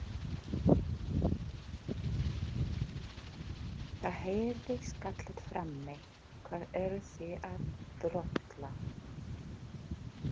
Það heyrðist kallað frammi: Hvað eruð þið að drolla?